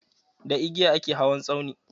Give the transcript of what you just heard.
Da igiya a ke hawan tsauni.